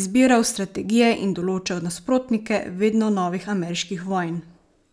izbiral strategije in določal nasprotnike vedno novih ameriških vojn.